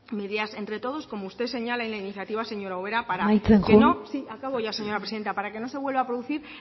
medidas entre todos como usted señala en la iniciativa señora ubera para que no amaitzen joan sí acabo ya señora presidenta para que no se vuelva a producir